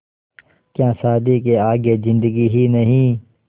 क्या शादी के आगे ज़िन्दगी ही नहीं